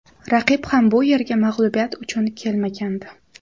Raqib ham bu yerga mag‘lubiyat uchun kelmagandi.